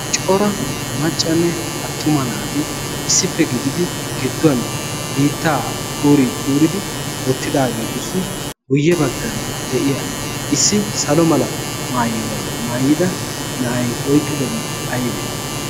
coora maccanne attuma naati issippe gididi gidduwan biittaa kuuri kuuridi oottidaageetussi guyye baggan de'iya issi salo mala maayuwaa maayida na'ay oyqqidobi aybee?